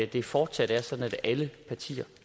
det fortsat er sådan at alle partier